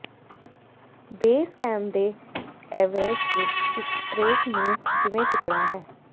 base camp ਦੇ Everest ਵਿੱਚ ਇੱਕ ਟ੍ਰੇਕ ਨੂੰ ਕਿਵੇਂ ਚੁੱਕਣਾ ਹੈ